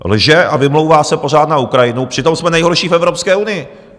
Lže a vymlouvá se pořád na Ukrajinu, přitom jsme nejhorší v Evropské unii!